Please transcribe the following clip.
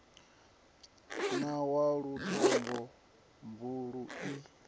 na wa lutombo buluu i